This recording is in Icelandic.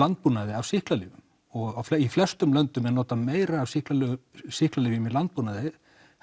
landbúnaði af sýklalyfjum og í flestum löndum er notað meira af sýklalyfjum sýklalyfjum í landbúnaði